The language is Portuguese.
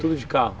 Tudo de carro.